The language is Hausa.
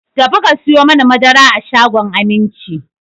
Ta fi ka sayo mani madara a shagon Aminci!